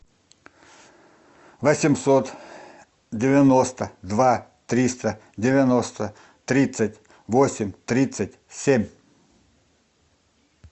восемьсот девяносто два триста девяносто тридцать восемь тридцать семь